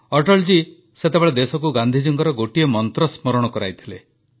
ଅଟଳଜୀ ସେତେବେଳେ ଦେଶକୁ ଗାନ୍ଧିଜୀଙ୍କର ଗୋଟିଏ ମନ୍ତ୍ର ସ୍ମରଣ କରାଇଥିଲେ